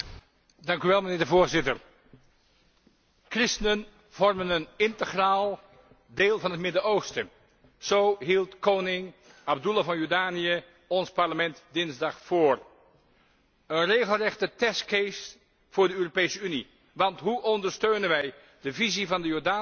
Voorzitter, christenen vormen een integraal deel van het Midden Oosten, zo hield koning Abdullah van Jordanië ons Parlement dinsdag voor. Een regelrechte testcase voor de Europese Unie, want hoe ondersteunen wij de visie van de Jordaanse monarch